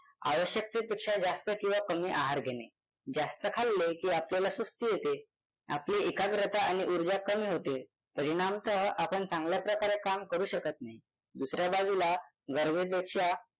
आवश्यकतेपेक्षा जास्त किंवा कमी आहार घेणे जास्त खाल्ले की आपल्याला सुस्ती येते आपली एकाग्रता आणि उर्जा कमी होते परिणामतः आपण चांगल्याप्रकारे काम करू शकत नाही दुसऱ्या बाजूला गरजेपेक्षा